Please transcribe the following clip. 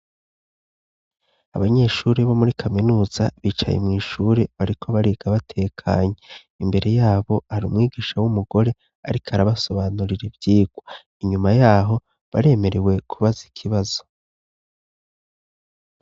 Abanyeshuri bo muri kaminuza bicaye mw'ishure bariko bariga batekanye. Imbere yabo hari umwigisha w'umugore ariko arabasobanurira ivyigwa, inyuma y'aho baremerewe kubaza ikibazo.